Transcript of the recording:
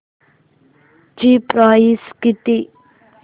ची प्राइस किती